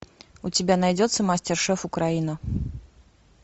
у тебя найдется мастер шеф украина